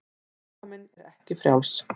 Líkaminn er ekki frjáls.